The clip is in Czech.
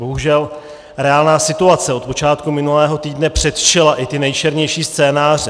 Bohužel reálná situace od počátku minulého týdne předčila i ty nejčernější scénáře.